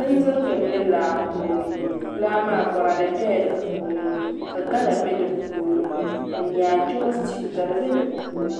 Bindirigu n bɛ laa puuni laa maa boraadɛ bɛla di puuni ka gala bɛ di puuni ka nyaadowa stiw ka di bɛ di puuni